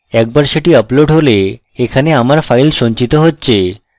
একবার সেটি আপলোড হলে এখানে আমার files সঞ্চিত হচ্ছে